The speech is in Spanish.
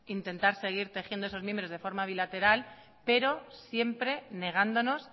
intentar seguir tejiendo esos mimbres de forma bilateral pero siempre negándonos